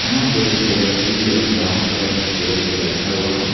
यहां पे एक व्यक्ति एक ब्राउन कलर का चेयर पे बैठा हुआ है।